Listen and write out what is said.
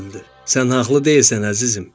"Sən haqlı deyilsən, əzizim.